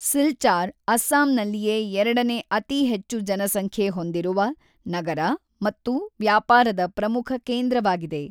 ಸಿಲ್ಚಾರ್ ಅಸ್ಸಾಂನಲ್ಲಿಯೇ ಎರಡನೇ ಅತಿ ಹೆಚ್ಚು ಜನಸಂಖ್ಯೆ ಹೊಂದಿರುವ ನಗರ ಮತ್ತು ವ್ಯಾಪಾರದ ಪ್ರಮುಖ ಕೇಂದ್ರವಾಗಿದೆ.